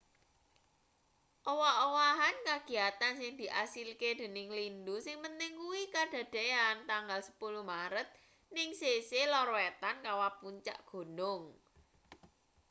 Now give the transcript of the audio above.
owah-owahan kagiyatan sing diasilke dening lindhu sing penting kuwi kadadeyan tanggal 10 maret ning sisih lor wetan kawah puncak gunung